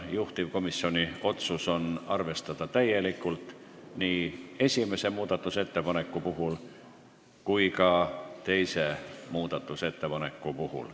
Juhtivkomisjoni otsus on arvestada täielikult nii esimest kui ka teist muudatusettepanekut.